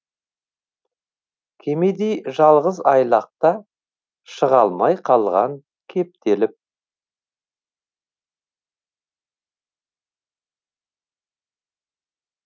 кемедей жалғыз айлақта шыға алмай қалған кептеліп